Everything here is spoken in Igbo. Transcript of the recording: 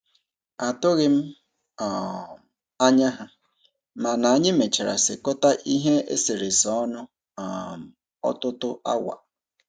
Atụghị m um anya ha, mana anyị mechara sekọta ihe eserese ọnụ um ọtụtụ awa.